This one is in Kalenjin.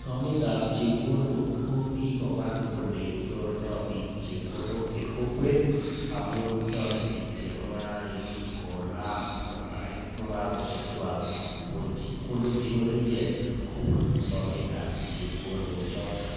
sometab chepkondok kokikowal ole nyorundo biik chepkwondok en kokwet amun, toretin chemung'arainik konam ak kobarait mung'aroshiek kwak kobun chepkondok chenyoru ichek kobun sometab chepkwondok choton,